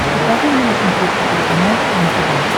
покажи мне на смотрешке телеканал кхлм тв